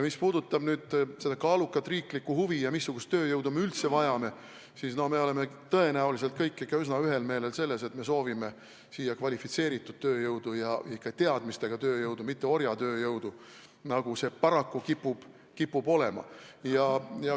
Mis puudutab kaalukat riiklikku huvi ja seda, missugust tööjõudu me üldse vajame, siis me oleme tõenäoliselt kõik üsna ühel meelel selles, et me soovime siia kvalifitseeritud tööjõudu ja ikka teadmistega tööjõudu, mitte orjatööjõudu, nagu see paraku kipub olema.